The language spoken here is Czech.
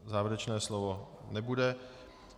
Závěrečné slovo nebude.